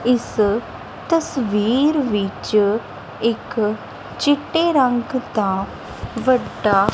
ਇਸ ਤਸਵੀਰ ਵਿੱਚ ਇੱਕ ਚਿੱਟੇ ਰੰਗ ਦਾ ਵੱਡਾ--